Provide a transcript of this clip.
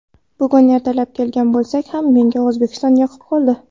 Bugun ertalab kelgan bo‘lsak ham menga O‘zbekiston yoqib qoldi.